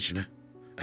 Heç nə?